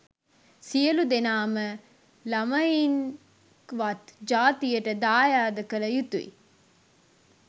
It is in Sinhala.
සියලු දෙනාම ළමයින්ක්වත් ජාතියට දයද කල යුතුයි.